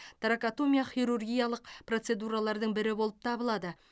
торакотомия хирургиялық процедуралардың бірі болып табылады